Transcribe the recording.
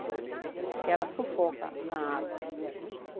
Porque ela sufoca na água.